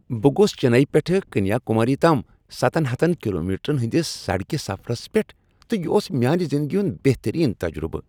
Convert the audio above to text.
بہٕ گوٚس چنئیی پٮ۪ٹھہٕ کنیا کُماری تام سَتن ہَتن کلومیٹرن ہندِس سڑکہِ سفرس پیٹھ تہٕ یہ اوس میانہِ زندگی ہُنٛد بہتٔریٖن تجرُبہٕ۔